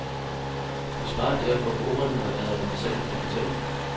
Vi sparer derfor på ordene og lader hende selv komme til.